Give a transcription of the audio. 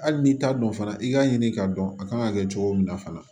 Hali n'i t'a dɔn fana i k'a ɲini k'a dɔn a kan ka kɛ cogo min na fana